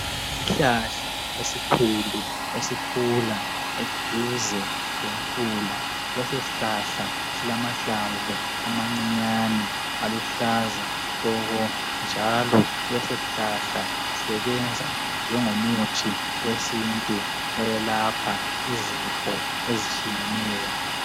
Isihlahla esikhulu esikhula eduze lemfula leso sihlahla silamahlamvu amancinyane aluhlaza tshoko njalo leso sihlahla sisebenza njengomuthi wesintu oyelapha izifo ezitshiyeneyo.